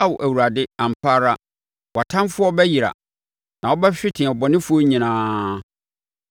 Ao Awurade ampa ara, wʼatamfoɔ bɛyera; na wobɛhwete abɔnefoɔ nyinaa.